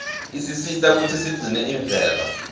isisita kutsi sigcine imvelo